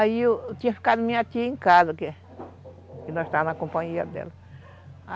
Aí, tinha ficado minha tia em casa, que nós távamos na companhia dela.